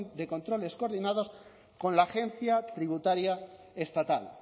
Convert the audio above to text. de controles coordinados con la agencia tributaria estatal